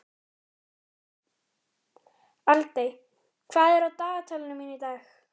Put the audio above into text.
Aldey, hvað er á dagatalinu mínu í dag?